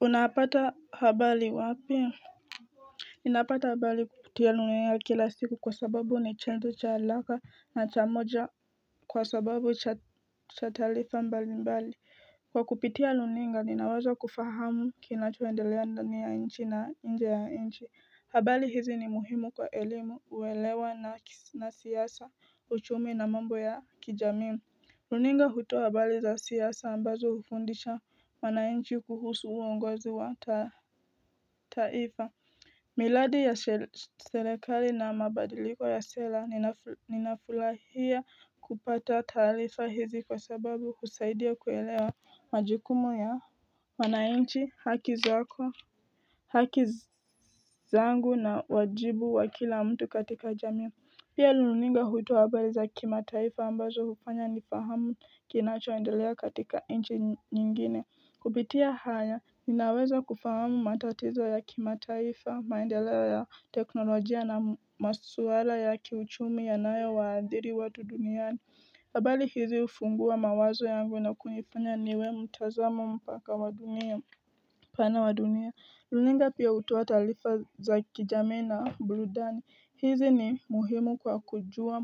Unapata habari wapi? Ninapata habari kupitia runinga kila siku kwa sababu ni chombo cha haraka na cha moja kwa sababu cha taarifa mbali mbali. Kwa kupitia runinga ninawaza kufahamu kinachoendelea ndani ya nchi na nje ya nchi. Habari hizi ni muhimu kwa elimu, uelewa na siasa, uchumi na mambo ya kijamii runinga hutoa habari za siasa ambazo hufundisha wananchi kuhusu uongozi wa taifa miradi ya serekali na mabadiliko ya sera ninafurahia kupata taarifa hizi kwa sababu husaidia kuelewa majikumu ya wananchi haki zako haki zangu na wajibu wa kila mtu katika jamii. Pia runinga hutoa habari za kimataifa ambazo hufanya nifahamu kinachoendelea katika nchi nyingine. Kupitia haya, ninaweza kufahamu matatizo ya kimataifa, maendeleo ya teknolojia na masuala ya kiuchumi yanayo waathiri watu duniani. Habari hizi hufungua mawazo yangu na kunifanya niwe mtazamo mpaka wa dunia. Pana wa dunia, runinga pia hutoa taarifa za kijamii na burudani, hizi ni muhimu kwa kujua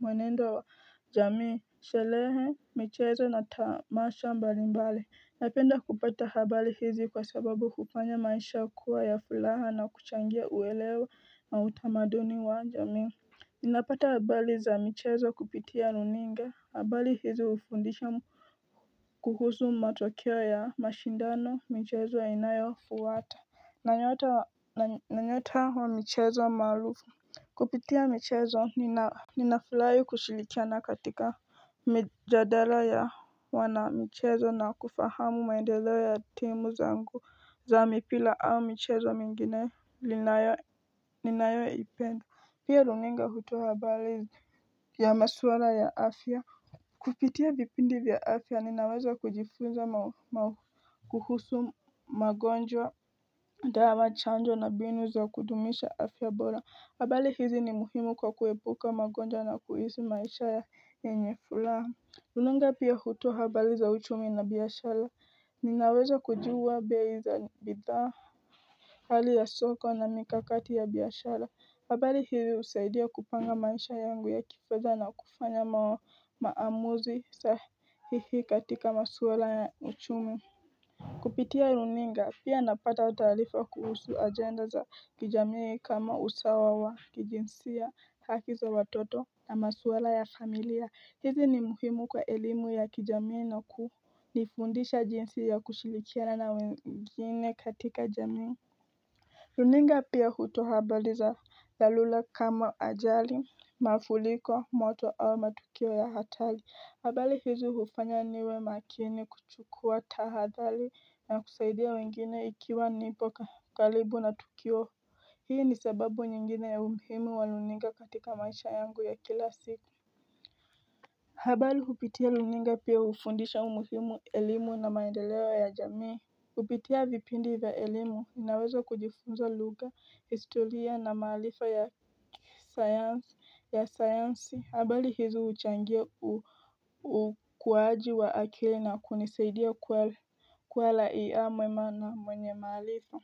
mwenendo wa jamii sherehe, michezo na tamasha mbalimbali. Napenda kupata habari hizi kwa sababu hufanya maisha kuwa ya furaha na kuchangia uelewe na utamaduni wa jamii Ninapata habari za michezo kupitia runinga, habari hizi hufundisha kuhusu matokeo ya mashindano, michezo yanayofuata na nyota wa michezo maarufu Kupitia michezo, nina ninafurahi kushirikiana katika mijadala ya wanamichezo na kufahamu maendeleo ya timu zangu za mipira au michezo mingine ninayoipenda. Pia runinga hutoa habari ya maswala ya afya, kupitia vipindi vya afya ninaweza kujifunza kuhusu magonjwa, dala, chanjo na mbinu za kudumisha afya bora habari hizi ni muhimu kwa kuepuka magonjwa na kuishi maisha ya yenye furaha. Runinga pia hutoa habari za uchumi na biashara Ninaweza kujua bei za bidhaa hali ya soko na mikakati ya biashara. Habari hizi husaidia kupanga maisha yangu ya kifedha na kufanya maa maamuzi sahihi katika maswala ya uchumi kupitia runinga, pia napata taarifa kuhusu ajenda za kijamii kama usawa wa kijinsia haki za watoto na maswala ya familia. Hizi ni muhimu kwa elimu ya kijamii na kunifundisha jinsi ya kushirikiana na wengine katika jamii. Runinga pia hutoa habari za dharura kama ajali mafuriko, moto au matukio ya hatari. Habari hizi hufanya niwe makini kuchukua tahadhari na kusaidia wengine ikiwa nipo karibu na tukio. Hii ni sababu nyingine ya umuhimu wa runinga katika maisha yangu ya kila siku habari hupitia runinga pia hufundisha umuhimu wa elimu na maendeleo ya jamii, kupitia vipindi vya elimu ninaweza kujifunza lugha, historia na maarifa ya sayansi ya sayansi habari hizo huchangia ukuaji wa akili na kunisaidia kuiona mema yenye maarifa.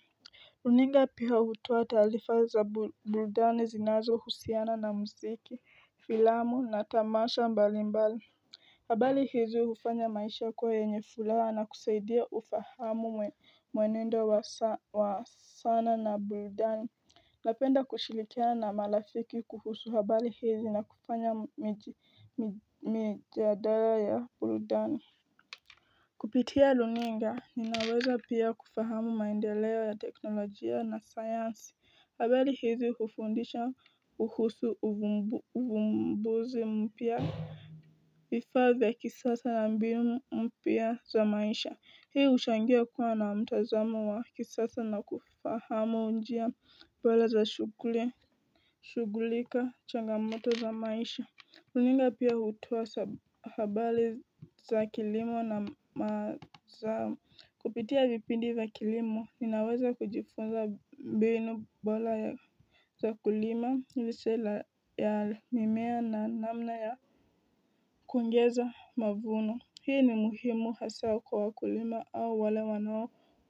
Runinga pia hutoa taarifa za burudani zinazohusiana na mziki, filamu na tamasha mbalimbali habari hizi hufanya maisha kuwa yenye furaha na kusaidia ufahamu mwenendo wa sana na burudani. Napenda kushirikiana na marafiki kuhusu habari hizi na kufanya mijadala ya burudani kupitia runinga, ninaweza pia kufahamu maendeleo ya teknolojia na sayansi. Habari hizi hufundisha kuhusu uvumbuzi mpya, vifaa vya kisasa na mbinu mpya za maisha Hii huchangia kuwa na mtazamo wa kisasa na kufahamu njia bora za shughuli na changamoto za maisha. Runinga pia hutoa habari za kilimo na mazao, kupitia vipindi wa kilimo ninaweza kujifunza mbinu bora za kulima, lishe ya mimea na namna ya kuongeza mavuno hii ni muhimu haswa kwa wakulima au wale wanao.